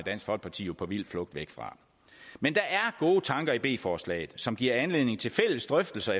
dansk folkeparti jo på vild flugt væk fra men der er gode tanker i b forslaget som giver anledning til fælles drøftelser